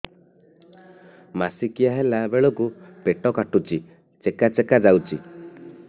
ମାସିକିଆ ହେଲା ବେଳକୁ ପେଟ କାଟୁଚି ଚେକା ଚେକା ଯାଉଚି